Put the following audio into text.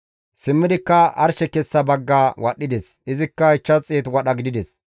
Simmidikka arshe kessa bagga wadhdhides; izikka 500 wadha gidides.